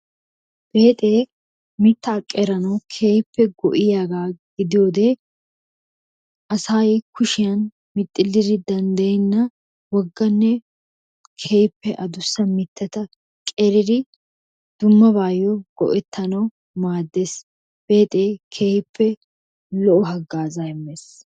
Beexe mitta qeranaw keehippe go"iyaaga gidiyoode asay kushiyaa mixxiliri danddayenna wogganne keehippe addussa mittata qeridi dummabayyo go"ettanaw maaddees. Beexe keehippe lo"o hagaazza immees.